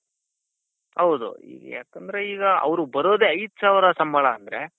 ಹೌದು ಯಾಕಂದ್ರೆ ಈಗ ಅವರಿಗೆ ಬರೋದೆ ಐದ್ ಸಾವಿರ ಸಂಬಳ ಅಂದ್ರೆ.